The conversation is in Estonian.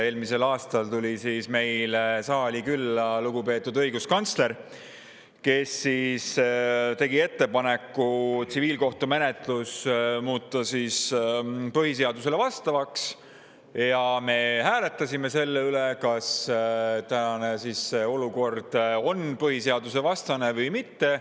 Eelmisel aastal tuli meile saali külla lugupeetud õiguskantsler, kes tegi ettepaneku tsiviilkohtumenetluse põhiseadusega, ja me hääletasime selle üle, kas tänane olukord on põhiseadusevastane või mitte.